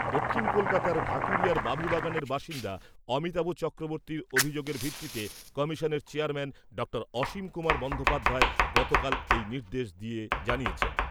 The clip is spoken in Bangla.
দক্ষিণ কলকাতার ঢাকুরিয়ার বাবুবাগানের বাসিন্দা অমিতাভ চক্রবর্তীর অভিযোগের ভিত্তিতে কমিশনের চেয়ারম্যান ডক্টর অসীম কুমার বন্দোপাধ্যায় গতকাল এই নির্দেশ দিয়ে জানিয়েছেন